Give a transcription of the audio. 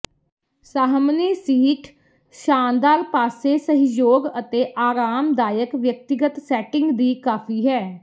ਸਾਹਮਣੇ ਸੀਟ ਸ਼ਾਨਦਾਰ ਪਾਸੇ ਸਹਿਯੋਗ ਅਤੇ ਆਰਾਮਦਾਇਕ ਵਿਅਕਤੀਗਤ ਸੈਟਿੰਗ ਦੀ ਕਾਫ਼ੀ ਹੈ